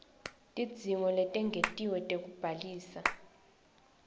tidzingo letengetiwe tekubhaliswa